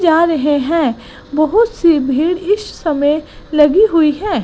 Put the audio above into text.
जा रहे हैं बहुत सी भीड़ इस समय लगी हुई है।